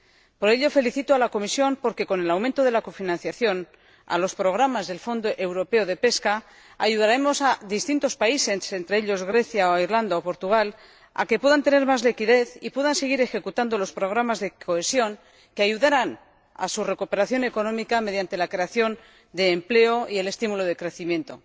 Por ello felicito a la Comisión, porque con el aumento de la cofinanciación a los programas del Fondo Europeo de Pesca ayudaremos a distintos países —entre ellos Grecia, Irlanda o Portugal— a que puedan tener más liquidez y puedan seguir ejecutando los programas de cohesión que ayudarán a su recuperación económica mediante la creación de empleo y el estímulo del crecimiento.